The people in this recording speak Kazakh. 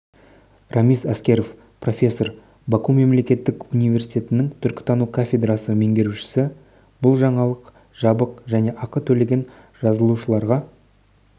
рамиз аскеров профессор баку мемлекеттік университетінің түркітану кафедрасы меңгерушісі бұл жаңалық жабық және ақы төлеген жазылушыларға